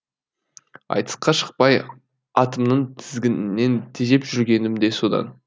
айтысқа шықпай атымның тізгінінен тежеп жүргенім де содан